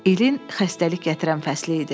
İlin xəstəlik gətirən fəsli idi.